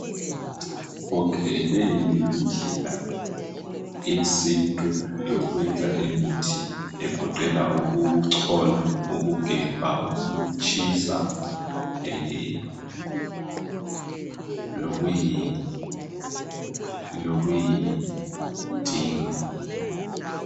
Leyi yindlela yesintu yokwenza imithi egoqela ukuchola, ukugebha, ukutshisa lokuyi dinga.